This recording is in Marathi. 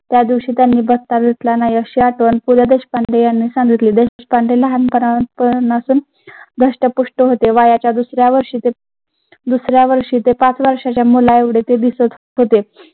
त्या दिवशी त्यांनी पु ल देशपांडे यांनी सांगितली. देशपांडे लहान पनापासून धष्टपुष्ट होते वयाच्या दुसऱ्या वर्षी ते दुसऱ्या वर्षी ते पाच वर्षाच्या मुलेव्ध्ये ते दिसतं होते.